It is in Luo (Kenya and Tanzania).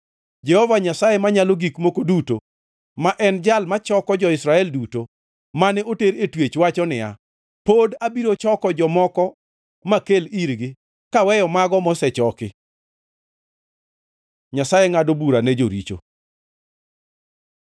Jehova Nyasaye Manyalo Gik Moko Duto ma en Jal ma choko jo-Israel duto, mane oter e twech wacho niya, “Pod abiro choko jomoko makel irgi, kaweyo mago mosechoki.” Nyasaye ngʼado bura ne joricho